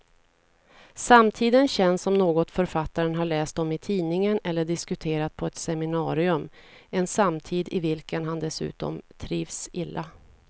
Samtiden känns som något författaren har läst om i tidningen eller diskuterat på ett seminarium, en samtid i vilken han dessutom trivs illa.